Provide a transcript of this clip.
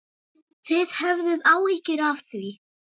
Þið höfðuð áhyggjur af því?